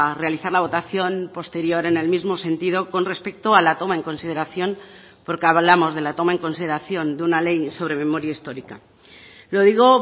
realizar la votación posterior en el mismo sentido con respecto a la toma en consideración porque hablamos de la toma en consideración de una ley sobre memoria histórica lo digo